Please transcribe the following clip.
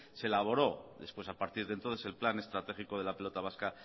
se elaboró después a partir de entonces el plan estratégico de la pelota vasca